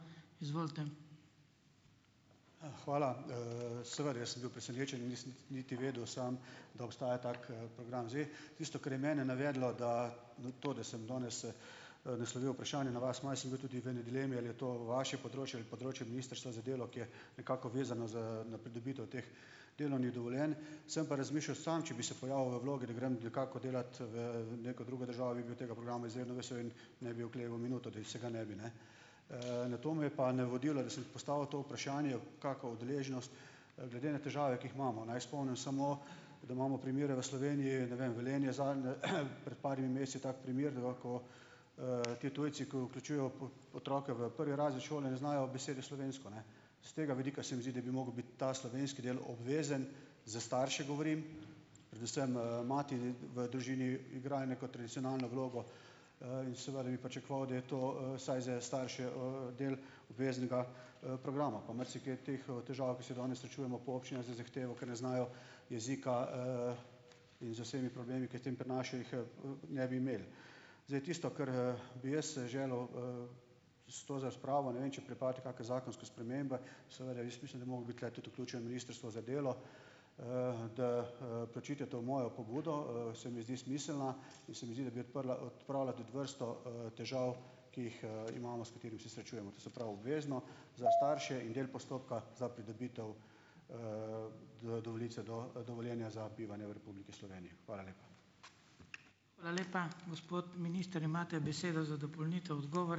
Hvala. Seveda, jaz sem bil presenečen. Nisem niti vedel sam, da obstaja tak, program. Zdaj, tisto, kar je mene navedlo, da na to, da sem danes, naslovil vprašanje na vas. Malo sem bil tudi v eni dilemi, ali je to vaše področje ali področje Ministrstva za delo, ki je nekako vezano z, na pridobitev teh delovnih dovoljenj. Sem pa razmišljal sam, če bi se pojavil v vlogi, da grem nekako delat v, neko drugo državo in bi bil tega programa izjemno vesel in ne bi okleval minuto, da se ga ne bi, ne. Na to me je pa navodilo, da sem postavil to vprašanje, kaka udeleženost. Glede na težave, ki jih imamo - naj spomnim samo, da imamo primere v Sloveniji, ne vem, Velenje, zanj pred par meseci ta primer, da lahko, ti tujci, ki vključujejo otroke v prvi razred šole, ne znajo besede slovensko, ne. S tega vidika se mi zdi, da bi mogel biti ta slovenski del obvezen - za starše govorim, predvsem, mati v družini igrajo neko tradicionalno vlogo, in seveda da bi pričakoval, da je to, vsaj za starše, del obveznega, programa, pa marsikje teh, težav, se danes srečujemo, po občinah z zahtevo, ker ne znajo jezika, in z vsemi problemi, ke jih s tem prinašajo, jih, ne bi imeli. Zdaj, tisto, kar bi jaz, želel, s to razpravo - ne vem, če pripravljate kake zakonske spremembe. Seveda jaz mislim, da bi mogel biti tudi tule vključeno Ministrstvo za delo, da, preučite to mojo pobudo. Se mi zdi smiselna in se mi zdi, da bi odprla, odpravila tudi vrsto, težav, ki jih, imamo, s katerimi se srečujemo. To se pravi, obvezno za starše in del postopka za pridobitev, do, dovoljenja za bivanje v Republiki Sloveniji. Hvala lepa.